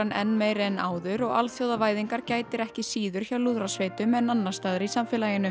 enn meiri en áður og alþjóðavæðingar gætir ekki síður hjá lúðrasveitum en annars staðar í samfélaginu